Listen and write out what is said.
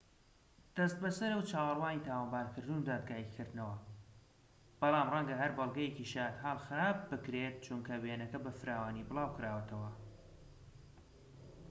دەست بەسەرە و چاوەڕوانی تاوانبارکردن و دادگایی کردنەوە بەڵام ڕەنگە هەر بەڵگەیەکی شایەتحاڵ خراپ بکرێت چونکە وێنەکەی بە فراوانی بڵاوکراوەتەوە